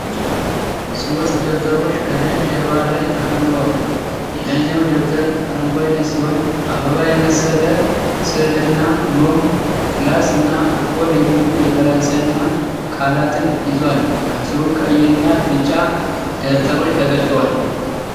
ሦስት ደብተሮች ከነጭ ጀርባ ላይ ተከምረዋል። የላይኛው ደብተር አረንጓዴ ሲሆን አበባ የመሰለ ስዕልና "ኖም"፣ "ክላስ" እና "እኮል" የሚሉ የፈረንሳይኛ ቃላትን ይዟል። ከስሩ ቀይና ቢጫ ደብተሮች ተገልጠዋል።